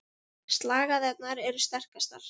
Slagæðarnar eru sterkastar.